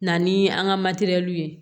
Na ni an ka ye